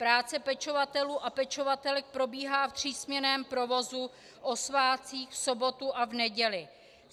Práce pečovatelů a pečovatelek probíhá v třísměnném provozu o svátcích, v sobotu a v neděli.